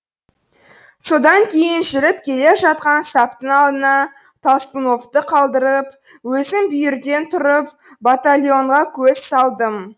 содан кейін жүріп келе жатқан саптың алдына толстуновты қалдырып өзім бүйірден тұрып батальонға көз салдым